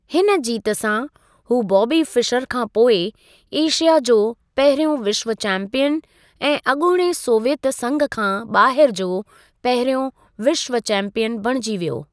हिन जीत सां, हू बॉबी फिशर खां पोइ, एशिया जो पहिरियों विश्व चैंपियन ऐं अॻूणे सोवियत संघ खां ॿाहिर जो पहिरियों विश्व चैंपियन बणिजी वियो।